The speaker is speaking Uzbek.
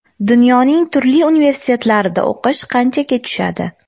Dunyoning turli universitetlarida o‘qish qanchaga tushadi?.